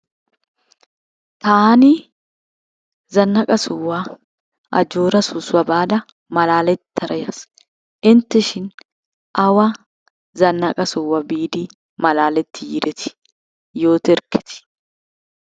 Taani zannaqa sohuwa Ajjoora soossuwa baada malaalettara yaas. Intteshin? Awa zannaqa sohuwa biidi malaaletti yiiretii, yooterkketii.